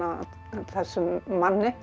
þessum manni